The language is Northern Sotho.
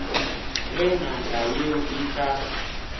ge ngaka yeo e ka